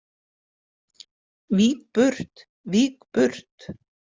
Vík burt, vík burt.